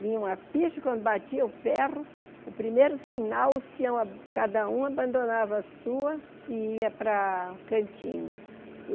Vinha uma ficha, quando batia o ferro, o primeiro sinal, os peões cada um abandonava a sua e ia para a cantina.